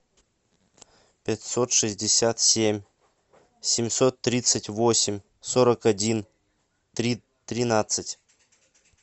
пятьсот шестьдесят семь семьсот тридцать восемь сорок один тринадцать